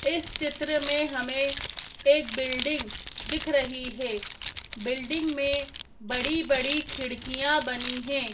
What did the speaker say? इस चित्र में हमें एक बिल्डिंग दिख रही है बिल्डिंग में बड़ी बड़ी खिड़कियां बनी है।